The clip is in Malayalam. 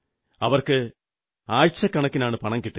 അവർക്ക് ആഴ്ചക്കണക്കിനാണ് പണം കിട്ടുക